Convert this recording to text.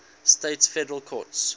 states federal courts